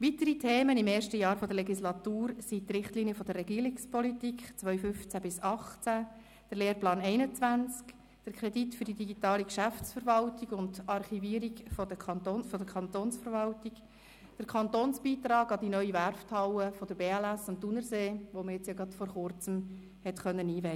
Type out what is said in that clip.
Weitere Themen im ersten Jahr der Legislatur waren die Richtlinien der Regierungspolitik 2015–2018, der Lehrplan 21, der Kredit für die digitale Geschäftsverwaltung und -archivierung der Kantonsverwaltung sowie der Kantonsbeitrag an die neue Werfthalle der BLS am Thunersee, die vor Kurzem eingeweiht werden konnte.